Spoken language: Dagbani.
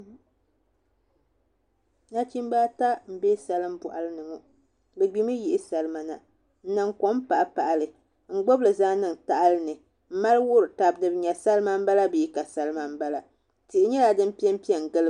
Nachimbi ata n bɛ salin boɣali ni ŋo bi gbimi yihi salima nan niŋ kom paɣapaɣali n gbubili zaŋ niŋ tahali ni n mali wuhuri tabi ni bi nyɛ salima n bala bee ka salima n bala tihi nyɛla din piɛnpiɛ n giliba